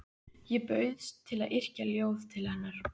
Ég bauðst til að yrkja ljóð til hennar.